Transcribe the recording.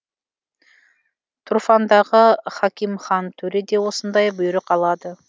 тұрфандағы хакимхан төре де осындай бұйрық алады